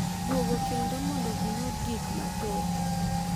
Duogo kendo mondo giyud gik mathoth,